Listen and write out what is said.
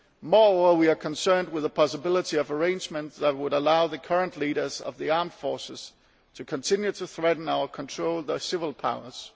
Moreover, we are concerned about the possibility of arrangements that would allow the current leaders of the armed forces to continue to threaten or control the civil powers.